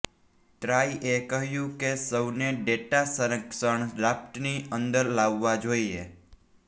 ટ્રાઈએ કહ્યું કે સૌને ડેટા સંરક્ષણ ડ્રાફ્ટની અંદર લાવવા જોઇએ